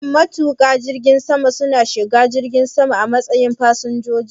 Shin matuƙan jirgin sama su na shiga jirgi sama a matsayin fasinjoji?